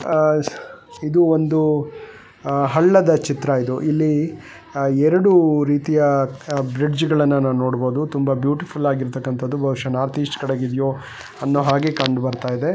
ಇದು ಒಂದು ಹಳ್ಳದ ಚಿತ್ರ ಇದು ಇಲ್ಲಿ ಎರಡು ರೀತಿಯ ಬ್ರಿಡ್ಜ್ಗಳನ್ನು ನಾವು ನೋಡಬಹುದು ಇದು ತುಂಬಾ ಬ್ಯೂಟಿಫುಲ್ ಆಗಿ ಇರ್ತಕ್ಕಾನಂತದ್ದು ಬಹುಶಹ ಇದು ನಾಥ್ ಈಸ್ಟ್ ಕಡೆಯಿದ್ಯೋ ಅಂದ್ಹಾಗೆ ಕಾಣಬರ್ತಿದೆ.